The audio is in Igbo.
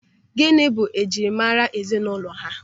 Gịnị bụ njirimara ezinụlọ ha?